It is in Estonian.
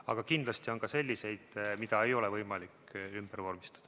Aga kindlasti on ka selliseid, mida ei ole võimalik ümber vormistada.